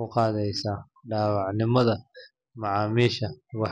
u qaadaysaa daacadnimada macaamiisha.